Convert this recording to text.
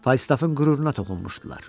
Faystaffın qüruruna toxunmuşdular.